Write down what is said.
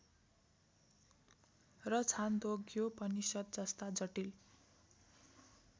र छान्दोग्योपनिषद् जस्ता जटिल